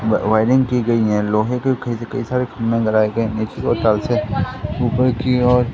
Wiring की गई है। लोहे के खैस कई सारे खम्भे लगाए गए है। नेचुरों टाल्स है। ऊपर की ओर--